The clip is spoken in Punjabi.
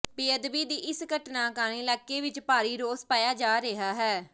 ਬੇਅਦਬੀ ਦੀ ਇਸ ਘਟਨਾ ਕਾਰਨ ਇਲਾਕੇ ਵਿੱਚ ਭਾਰੀ ਰੋਸ ਪਾਇਆ ਜਾ ਰਿਹਾ ਹੈ